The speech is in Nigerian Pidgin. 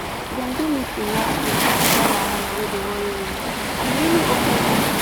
dem do meeting last week about that wahala wey dey worry women and e really open eye